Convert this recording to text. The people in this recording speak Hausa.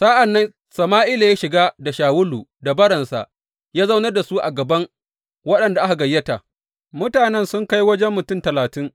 Sa’an nan Sama’ila ya shiga da Shawulu da baransa ya zaunar da su a gaban waɗanda aka gayyata, mutanen sun kai wajen mutum talatin.